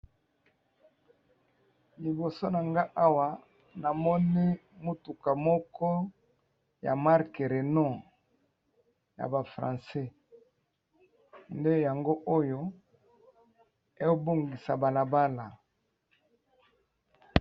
liboso na nga awa namoni motuka moko ya marke reynou ya bafrancais nde yango oyo ebongisa balabala